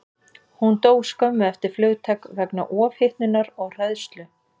Hún dó skömmu eftir flugtak vegna ofhitnunar og hræðslu.